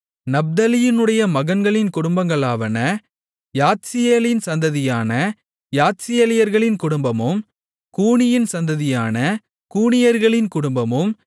நப்தலியினுடைய மகன்களின் குடும்பங்களாவன யாத்சியேலின் சந்ததியான யாத்சியேலியர்களின் குடும்பமும் கூனியின் சந்ததியான கூனியர்களின் குடும்பமும்